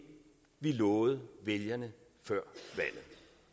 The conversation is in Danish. vi lovede vælgerne før valget